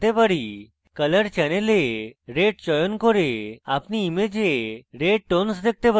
এখন colour channel এ red চয়ন করে আপনি image red tones দেখতে পারেন